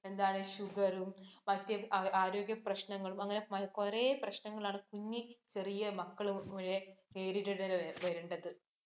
എന്താണ് sugar ഉം, മറ്റ് ആരോഗ്യ പ്രശ്നങ്ങളും, അങ്ങനെ കുറെ പ്രശ്നങ്ങൾ ആണ്. കുഞ്ഞി ചെറിയ മക്കളും നേരിടേണ്ടി വരുന്നത്.